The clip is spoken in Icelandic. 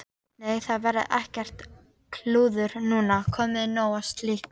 Nei, það verður ekkert klúður núna, komið nóg af slíku.